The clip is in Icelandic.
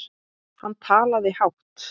Hann talaði hátt.